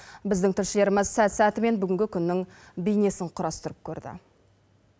біздің тілшілеріміз сәт сәтімен бүгінгі күннің бейнесін құрастырып көрді